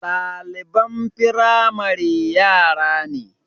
Ɗaliban firamare yara ne